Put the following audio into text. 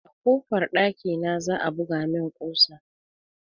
A kofar dakina za a buga min kusa